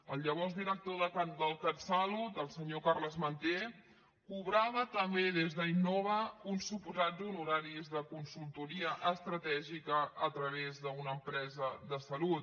el llavors director del catsalut el senyor carles manté cobrava també des d’innova uns suposats honoraris de consultoria estratègica a través d’una empresa de salut